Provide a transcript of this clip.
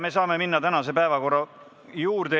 Me saame minna tänase päevakorra punktide arutamise juurde.